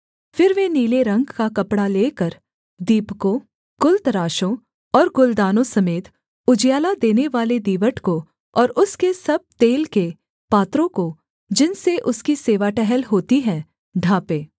फिर वे नीले रंग का कपड़ा लेकर दीपकों गुलतराशों और गुलदानों समेत उजियाला देनेवाले दीवट को और उसके सब तेल के पात्रों को जिनसे उसकी सेवा टहल होती है ढाँपें